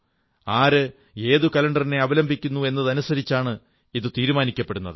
ആര് ഏതു കലണ്ടറിനെ അവലംബിക്കുന്നു എന്നതനുസരിച്ചാണ് ഇത് തീരുമാനിക്കപ്പെടുന്നത്